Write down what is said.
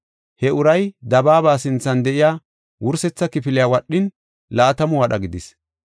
He uray dabaaba sinthan de7iya wursetha kifiliya wadhin, laatamu wadha gidis.